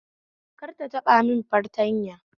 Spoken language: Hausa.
Kar ta taba mun fartanya